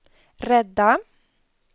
rädda